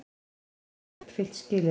Segjast hafa uppfyllt skilyrði